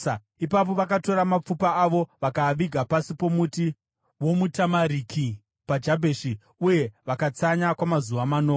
Ipapo vakatora mapfupa avo vakaaviga pasi pomuti womutamariki paJabheshi, uye vakatsanya kwamazuva manomwe.